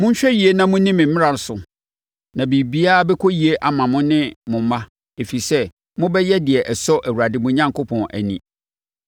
Monhwɛ yie na monni me mmara so na biribiara bɛkɔ yie ama mo ne mo mma, ɛfiri sɛ, mobɛyɛ deɛ ɛsɔ Awurade mo Onyankopɔn ani.